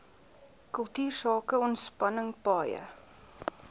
kultuursake ontspanning paaie